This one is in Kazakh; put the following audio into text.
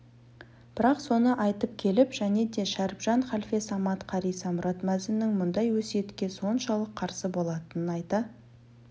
бірақ соны айтып келіп және де шәріпжан халфе самат қари самұрат мәзіннің бұндай өсиетке соншалық қарсы болатынын айта